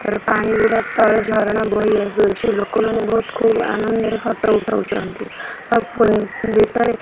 ତଳେ ପାଣି ଗୁଡ଼ା ତଳେ ଝରଣା ବହିଆସୁଛି। ଲୋକ ମାନେ ବହୁତ ଖୁବ୍ ଆନନ୍ଦରେ ଫଟୋ ଉଠାଉଛନ୍ତି। ଆଉ ଫୁଣି ଭିତରେ --